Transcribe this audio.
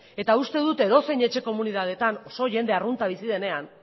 eta uste dut edozein etxe komunitatetan oso jende arrunta bizi denean